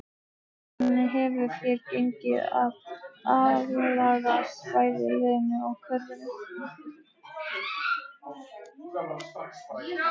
Hvernig hefur þér gengið að aðlagast bæði liðinu og kerfinu?